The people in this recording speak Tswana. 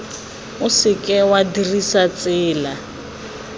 o seke wa dirisa tsela